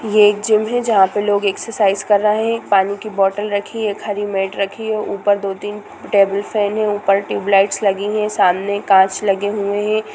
ये एक जिम है जहां लोग एक्सरसाइज कर रहा है पानी की बोतल रखी है एक हरी मेट रखी है ऊपर दो-तीन टेबल फैन है ऊपर ट्यूब लाइट्स लगी है सामने कांच लगे हुए है।